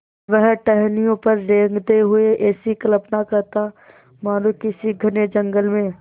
वह टहनियों पर रेंगते हुए ऐसी कल्पना करता मानो किसी घने जंगल में